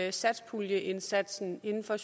i satspuljeaftalen inden for